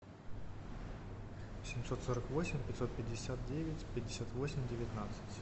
семьсот сорок восемь пятьсот пятьдесят девять пятьдесят восемь девятнадцать